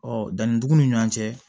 Ɔ danni dugun ni ɲɔgɔn cɛ